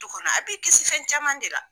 Du kɔnɔ a bi kisi fɛn caman de la.